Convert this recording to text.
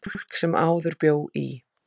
Fólk sem áður bjó í